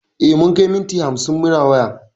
E, mun kai minti hamsin muna waya.